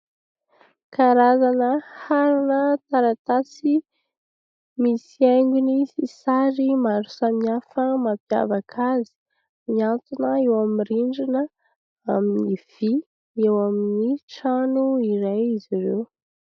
Karazana harona taratasy misy haingony sy sary maro samihafa mampiavaka azy, mihantona eo amin'ny rindrina amin'ny vy eo amin'ny trano iray izy ireo.